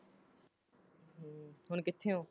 ਹੁਣ ਕਿਥੇ ਹੋ ਤੂ?